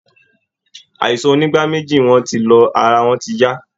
Àisàn onígbáméjì wọn ti lọ, ara wọn ti yá